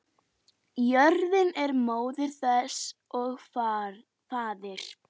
Jörðin er móðir þess og faðir.